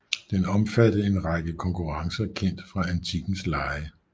Den omfattede en række konkurrencer kendt fra antikkens lege